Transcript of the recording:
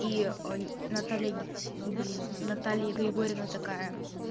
и наталья блин наталья григорьевна такая